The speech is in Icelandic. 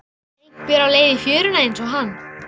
Einhver á leið í fjöruna einsog hann.